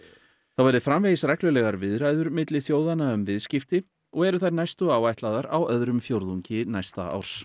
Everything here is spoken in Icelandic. þá verði framvegis reglulegar viðræður milli þjóðanna um viðskipti og eru þær næstu áætlaðar á öðrum ársfjórðungi næsta árs